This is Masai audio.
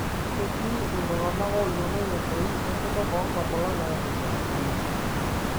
Ketii iltung'ana oyiolou entoi enkutuk onkamulak nairusha oleng'.